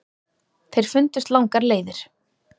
Þeir fundust langar leiðir.